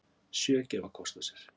Sjö gefa kost á sér